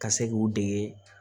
Ka se k'u dege